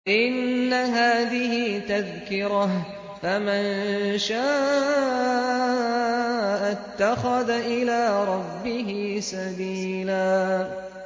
إِنَّ هَٰذِهِ تَذْكِرَةٌ ۖ فَمَن شَاءَ اتَّخَذَ إِلَىٰ رَبِّهِ سَبِيلًا